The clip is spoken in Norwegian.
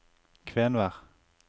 Kvenvær